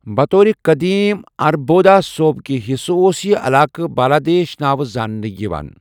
بطور قٔدیٖم اَربودا صوبکہِ حِصٕہ اوس یہِ علاقہٕ بالادیش ناوٕ زاننہٕ یوان ۔